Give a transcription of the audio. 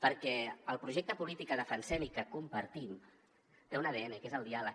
perquè el projecte polític que defensem i que compartim té un adn que és el diàleg